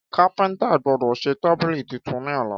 Kápéntà gbódò sè tábílì titun ní ọ̀la